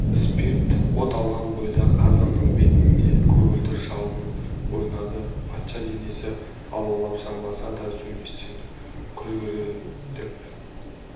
спирт от алған бойда қазанның бетінде көгілдір жалын ойнады патша денесі алаулап жанбаса да сөнбестен күлгірлеп